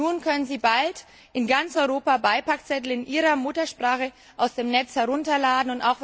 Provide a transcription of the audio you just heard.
Nun können sie bald in ganz Europa Beipackzettel in ihrer Muttersprache aus dem Netz herunterladen.